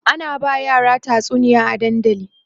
ana ba yara tatsuniya a dandali